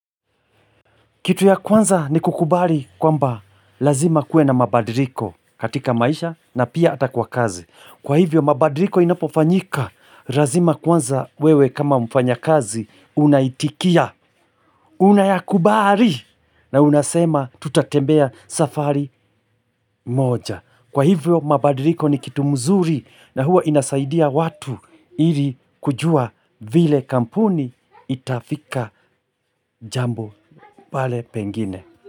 Kitu ya kwanza ni kukubali kwamba lazima kue na mabadiliko katika maisha na pia hata kwa kazi. Kwa hivyo mabadiriko inapofanyika, lazima kwanza wewe kama mfanya kazi unaitikia, unayakubari na unasema tutatembea safari moja. Kwa hivyo mabadiriko ni kitu mzuri na huwa inasaidia watu ili kujua vile kampuni itafika jambo pale pengine.